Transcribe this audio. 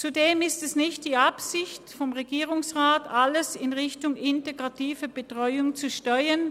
Zudem ist es nicht die Absicht des Regierungsrats, alles in Richtung integrative Betreuung zu steuern.